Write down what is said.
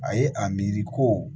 A ye a miiri ko